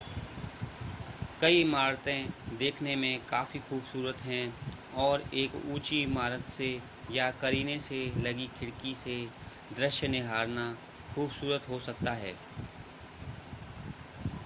कई इमारतें देखने में काफी खूबसूरत हैं और एक ऊंची इमारत से या करीने से लगी खिड़की से दृश्य निहारना खूबसूरत हो सकता है